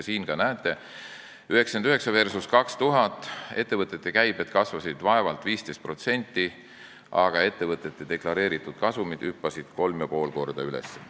Siin te ka näete: 1999 versus 2000, ettevõtete käibed kasvasid vaevalt 15%, aga deklareeritud kasumid hüppasid kolm ja pool korda üles.